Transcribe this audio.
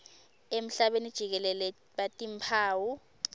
emhlabeni jikelele batimphawu